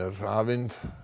hafin